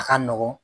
A ka nɔgɔn